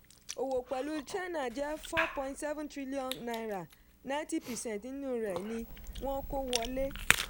òwò pẹ̀lú china jẹ́ four point seven trillion naira ninety percent nínú rẹ̀ ni wọ́n kó wọlé.